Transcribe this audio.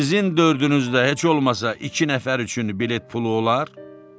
Sizin dördünüzdə heç olmasa iki nəfər üçün bilet pulu olar?